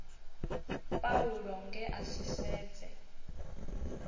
paulo nge a si sedze